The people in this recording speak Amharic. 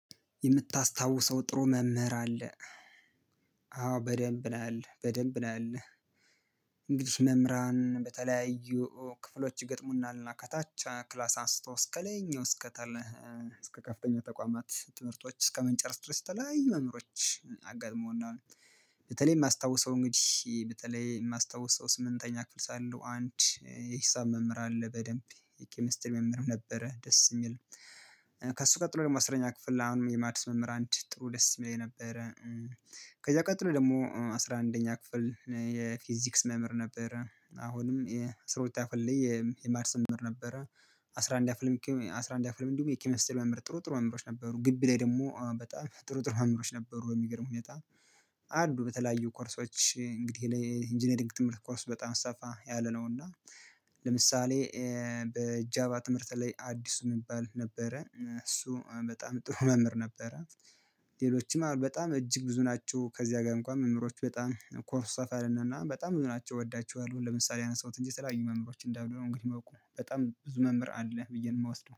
የምታስታውሰው ጥሩ መምህር አለ አዎ በደንብ ነው ያለው በደንብ ነው ያለው። እንግዲህ መምህራን በተለያዩ ክፍሎች ይገጥሙናል እና ከታች ክላስ አንስቶ እስከ ላይኛው እስከ ከፍተኛ ተቋማት ትምህርቶች እስከምንጨረስ ድረስ የተለያዩ መምህሮች አጋጥመዉኛል። በተለይ የማስታውሰው እንግዲህ በተለይ የማስታውሰው ስምንተኛ ክፍል ሳለው አንድ የሂሳብ መምህር አለ በደንብ የኬሚስትሪ መምህርም ነበረ ደስ የሚል። ከእሱ ቀጥሎ ደግሞ አስረኛ ክፍል ለአሁንም የማድስ መምህር አንድ ጥሩ ደስ የሚለኝ ነበረ። ከዛ ቀጥሎ ደግሞ አስራ አንደኛ ክፍል የፊዚክስ መምህር ነበረ አሁንም የአስራ ሁለተኛ ክፍል ላይ የማድስ መምህር ነበረ። አስራ አንደኛም አስራ አንደኛ ክፍልም ደግሞ የኬምስትሪ መምህር ጥሩ ጥሩ መምህሮች ነበሩ ግቢ ላይ ደግሞ በጣም ጥሩ ጥሩ መምህሮች ነበሩ። በሚገርም ሁኔታ አሉ በተለያዩ ኮርሶች እንግዲህ የኢንጂነሪንግ ትምህርት ኮርስ በጣም ሰፋ ያለ ነው። እና ለምሳሌ በጃባ ትምህርት ላይ አዲሱ የሚባል ነበረ እሱ በጣም ጥሩ መምህር ነበረ። ሌሎችም አሉ በጣም እጅግ ብዙ ናቸው ከዚያ ጋር እንኳን መምህሮች በጣም ኮርስ ሰፋ ያለ እና እና በጣም ብዙ ናቸው እወዳቸዋለሁ። ለምሳሌ አነሳሁት እንጂ የተለያዩ መምህሮች እንዳዩ ነው እንግዲህ የማውቀው በጣም ብዙ መምህር አለ ብዬ ነው የምወስደው